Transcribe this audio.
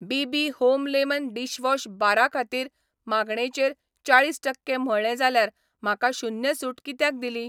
BB. Home lemon dishwash बारा खातीर मागणेचेर चाळीस टक्के म्हळ्ळें जाल्यार म्हाका शून्य सूट कित्याक दिली ?